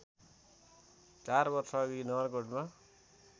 चार वर्षअघि नगरकोटमा